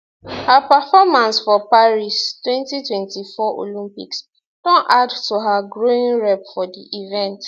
her performance for paris 2024 olympics don add to her growing rep for di events